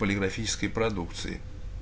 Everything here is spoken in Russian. полиграфической продукции